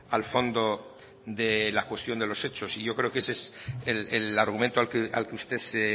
al fondo de la cuestión de los hechos y yo creo que ese es el argumento al que usted se